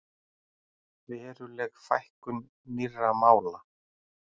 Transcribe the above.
Veruleg fækkun nýrra mála